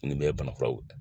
Nin bɛɛ ye banafuraw ye